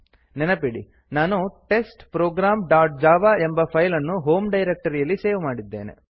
ನೆನಪಿಡಿ ನಾನು test program dot java ಎಂಬ ಫೈಲ್ ಅನ್ನು ಹೋಮ್ ಡೈರಕ್ಟರಿಯಲ್ಲಿ ಸೇವ್ ಮಾಡಿದ್ದೇನೆ